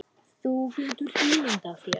Þú getur ímyndað þér.